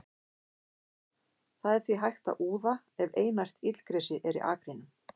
Það er því hægt að úða ef einært illgresi er í akrinum.